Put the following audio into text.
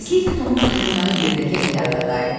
Tezliklə Tomun xəyalları yerdəki həyata qayıtdı.